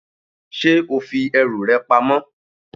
Ṣé o fi ẹrù rẹ pamọ?